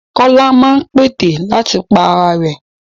Kọ́lá máa ń pète àti pa ara rẹ̀.